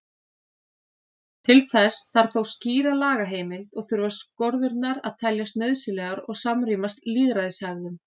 Til þess þarf þó skýra lagaheimild og þurfa skorðurnar að teljast nauðsynlegar og samrýmast lýðræðishefðum.